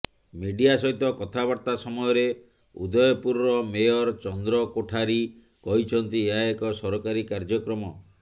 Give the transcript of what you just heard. media ସହିତ କଥାବାର୍ତ୍ତା ସମୟରେ ଉଦୟପୁରର ମେୟର ଚନ୍ଦ୍ର କୋଠାରୀ କହିଛନ୍ତି ଏହା ଏକ ସରକାରୀ କାର୍ଯ୍ଯକ୍ରମ